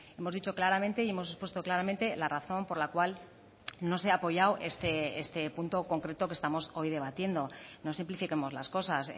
hemos dicho claramente y hemos expuesto claramente la razón por la cual no se ha apoyado este punto concreto que estamos hoy debatiendo no simplifiquemos las cosas